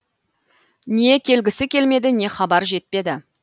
не келгісі келмеді не хабар жетпеді